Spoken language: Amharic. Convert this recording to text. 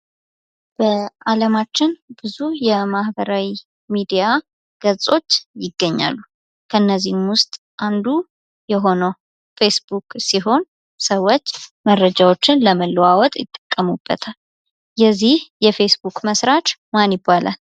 በአለማችን ብዙ የማኅበራዊ ሚዲያ ገፆች ይገኛሉ ። ከእነዚህም ውስጥ አንዱ የሆነው ፌስቡክ ሲሆን ሰዎች መረጃዎችን ለመለዋወጥ ይጠቀሙበታል ። የዚህ የፌስቡክ መስራች ማን ይባላል?